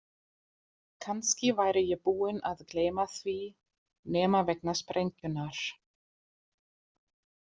Kannski væri ég búinn að gleyma því nema vegna sprengjunnar.